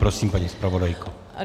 Prosím, paní zpravodajko.